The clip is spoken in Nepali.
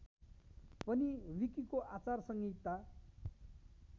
पनि विकिको आचार संहिता